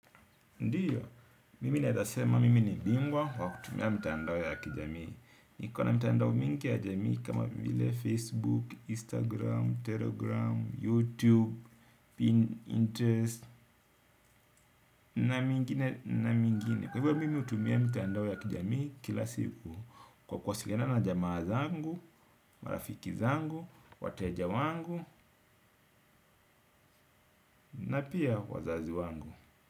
Ndiyo, mimi naezasema mimi ni bingwa kwa kutumia mitandao ya kijamii. Niko na mitandao mingi ya jamii kama vile Facebook, Instagram, Telegram, YouTube, Pinterest na mingine na mingine. Kwa hivo mimi hutumia mitandao ya kijamii kila siku kwa kuwasiliana na jamaa zangu, marafiki zangu, wateja wangu na pia wazazi wangu.